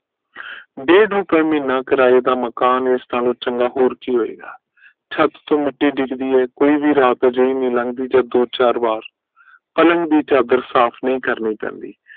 ਡੇਡ ਰੁਪੇ ਮਹੀਨਾ ਕਰਾਏ ਦਾ ਮਕਾਨ ਇਸ ਨਾਲੋਂ ਚੰਗਾ ਹੋਰ ਕੀ ਹੋਏਗਾ ਛੱਤ ਤੋਂ ਮਿੱਟੀ ਡਿਗਦੀ ਹੈ ਕੋਈ ਵੀ ਰਾਤ ਅਜਿਹੀ ਨੀ ਲੰਗਦੀ ਜਦ ਦੋ ਚਾਰ ਵਾਰ ਪਲੰਗ ਦੀ ਚਾਦਰ ਸਾਫ ਨੀ ਕਰਨੀ ਪੈਂਦੀ